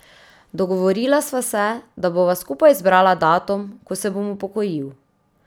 Dogovorila sva se, da bova skupaj izbrala datum, ko se bom upokojil.